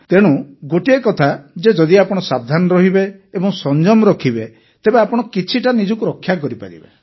ତେଣୁ ଗୋଟିଏ କଥା ଯେ ଯଦି ଆପଣ ସାବଧାନ ରହିବେ ଓ ସଂଯମ ରଖିବେ ତେବେ ଆପଣ କିଛିଟା ନିଜକୁ ରକ୍ଷା କରିପାରିବେ